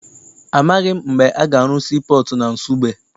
Amaghị m mgbe a ga-arụ sii pọọtụ na Nsugbe.